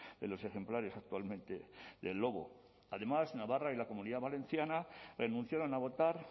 de los ejemplares actualmente del lobo además navarra y la comunidad valenciana renunciaron a votar